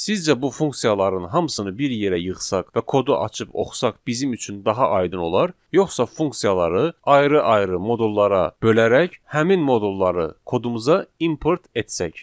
Sizcə bu funksiyaların hamısını bir yerə yığsaq və kodu açıb oxusaq bizim üçün daha aydın olar, yoxsa funksiyaları ayrı-ayrı modullara bölərək həmin modulları kodumuza import etsək.